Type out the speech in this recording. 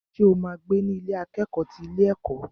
Ṣo ma gbé ní Ilé akẹ́kọ̀ọ́ ti ilé ẹ̀kọ́?